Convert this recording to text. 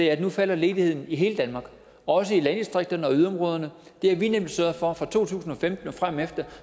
at nu falder ledigheden i hele danmark også i landdistrikterne og yderområderne det har vi nemlig sørget for fra to tusind og femten og fremefter